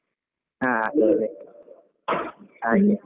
ಹ ಅದೇ ಅದೇ ಹಾಗೆ .